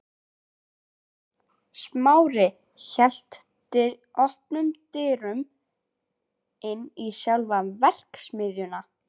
Smári hélt opnum dyrunum inn í sjálfa verksmiðjuna.